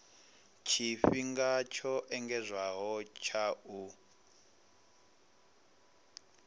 tshifhinga tsho engedzedzwaho tsha u